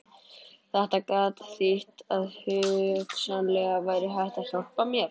Þetta gat þýtt að hugsanlega væri hægt að hjálpa mér.